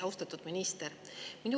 Austatud minister!